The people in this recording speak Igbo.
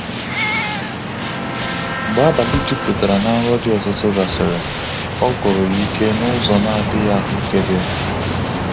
Mgbe abalị jupụtara na nrọ dị ọtụtụ gasịrị, ọ gwụrụ ya ike n'ụzọ na-adịghị ahukebe.